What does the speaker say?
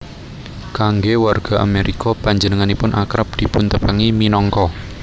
Kanggé warga Amérika panjenenganipun akrab dipuntepangi minangka